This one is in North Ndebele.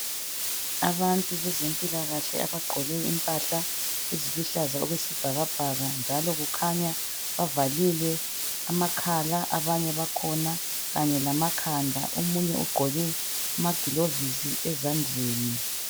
Abantu bezempilakahle abagqoke impahla eziluhlaza okwesibhakabhaka njalo kukhanya bavalile amakhala abanye bakhona kanye lamkhanda. Omunye ugqoke amagilovisi ezandleni.